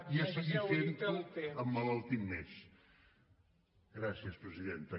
i a seguir fent ho emmalaltint més gràcies presidenta